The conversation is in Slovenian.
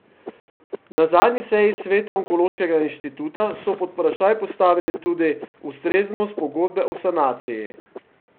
Na zadnji seji sveta onkološkega inštituta so pod vprašaj postavili tudi ustreznost pogodbe o sanaciji.